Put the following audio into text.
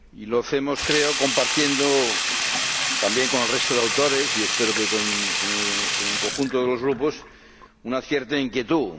Lo hacemos, creo, compartiendo también con el resto de autores, y espero que con el conjunto de los Grupos, una cierta inquietud.